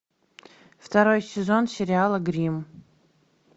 второй сезон сериала гримм